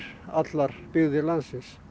allar byggðir landsins